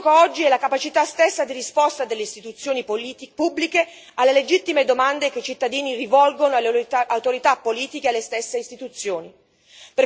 Ciò che è in gioco oggi è la capacità stessa di risposta delle istituzioni pubbliche alle legittime domande che i cittadini rivolgono alle autorità politiche e alle stesse istituzioni.